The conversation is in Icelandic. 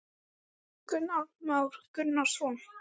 Það sem ekki verður sagt Þú hlóst, segir Júlía sár.